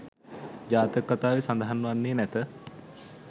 ජාතක කථාවේ සඳහන් වන්නේ නැත.